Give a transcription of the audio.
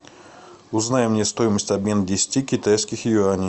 узнай мне стоимость обмена десяти китайских юаней